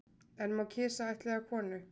En má kisa ættleiða konu